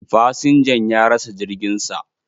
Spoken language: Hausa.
Fasinjan ya rasa jirgin sa.